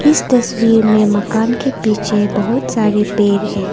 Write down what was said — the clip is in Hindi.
इस तस्वीर में मकान के पीछे बहुत सारे पेड़ है।